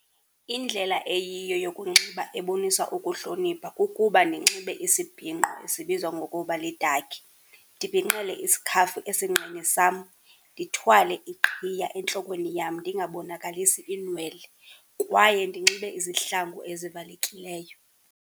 Indlela eyiyo yokunxiba ebonisa ukuhlonipha kukuba ndinxibe isibhinqo esibizwa ngokuba lidakhi, ndibhinqele isikhafu esinqeni sam, ndithwale iqhiya entlokweni yam ndingabonakalisi iinwele kwaye ndinxibe izihlangu ezivalekileyo.